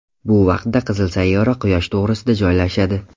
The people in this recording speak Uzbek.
Bu vaqtda qizil sayyora Quyosh to‘g‘risida joylashadi.